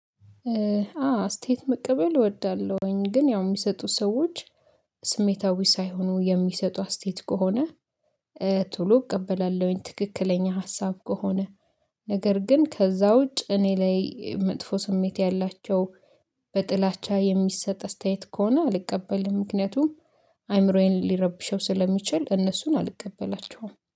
አዎ አስተያየት መቀበል እወዳለሁኝ ግን ያው የሚሰጡ ሰዎች ስሜታዊ ሳይሆኑ የሚሰጡ አስተያየት ከሆነ ቶሎ እቀበላለሁኝ ትክክለኛ ሀሳብ ከሆነ። ነገር ግን ከዛ ውጭ እኔ ላይ መጥፎ ስሜት ያላቸው በጥላቻ የሚሰጥ አስተያየት ከሆነ አልቀበልም። ምክንያቱም አይምሮዬን ሊረብሸው ስለሚችል እነሱን አልቀበላቸውም